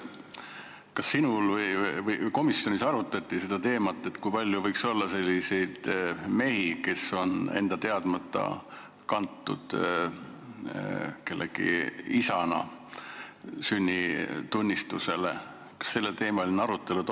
Kas komisjonis arutati seda teemat, kui palju võiks olla selliseid mehi, kes on enda teadmata kellegi isana sünnitunnistusele kantud?